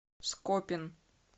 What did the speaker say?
скопин